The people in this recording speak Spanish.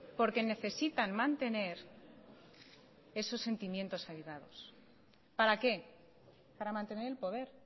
porque necesitan mantener esos sentimientos arraigados para qué para mantener el poder